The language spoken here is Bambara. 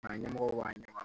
Karamɔgɔw b'a ɲɛfɔ